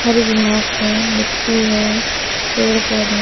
हरि घास है मिट्टी है पेड़ पौधे--